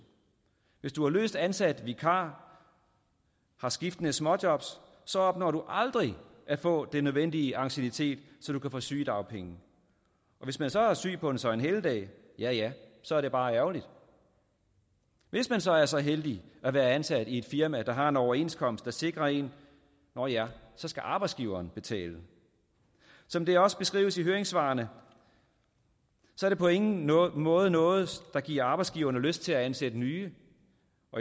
hvis du er løst ansat vikar har skiftende småjob opnår du aldrig at få den nødvendige anciennitet så du kan få sygedagpenge og hvis man så er syg på en søgnehelligdag ja så er det bare ærgerligt hvis man så er så heldig at være ansat i et firma der har en overenskomst der sikrer en nåh ja så skal arbejdsgiveren betale som det også beskrives i høringssvarene er det på ingen måde noget der giver arbejdsgiverne lyst til at ansætte nye